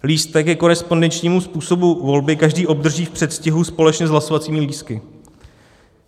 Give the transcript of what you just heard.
Lístek ke korespondenčnímu způsobu volby každý obdrží v předstihu společně s hlasovacími lístky.